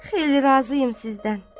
Xeyli razıyam sizdən.